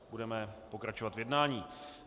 Budeme pokračovat v jednání.